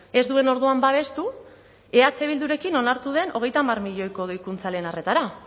ez duen orduan babestu eh bildurekin onartu den hogeita hamar milioiko doikuntza lehen arretara